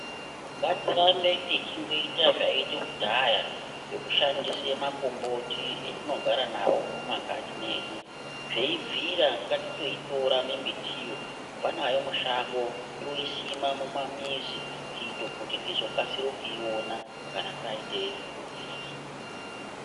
Ngatirambe tichingoita zvaitwe kudhaya zvekushandise makomboti etinogara nawo mumakanyi medu zveibvira ngatitoitora mbiti iyoo teibva nayo mushango toisima mumamizi kuitira kuti tizokasira kuiona kana taite hurwere.